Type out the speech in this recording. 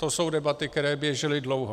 To jsou debaty, které běžely dlouho.